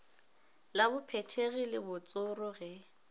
la bophethegi le botsoro ge